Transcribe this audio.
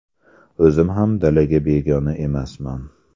O‘zim ham dalaga begona emasman.